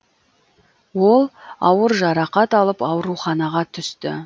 ол ауыр жарақат алып ауруханаға түсті